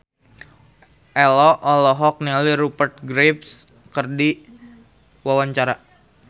Ello olohok ningali Rupert Graves keur diwawancara